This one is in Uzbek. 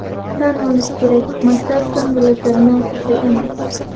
Tan olish kerak, maktab ko‘ngilochar muassasa emas.